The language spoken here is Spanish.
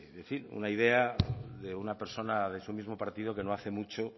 decir una idea de una persona de su mismo partido que no hace mucho